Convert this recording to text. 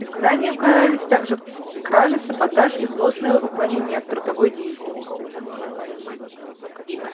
изгнанием карались также кражи саботаж и злостное уклонение от трудовой деятельности